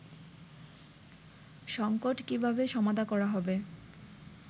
সঙ্কট কীভাবে সমাধা করা হবে